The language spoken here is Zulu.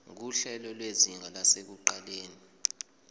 nguhlelo lwezinga lasekuqaleni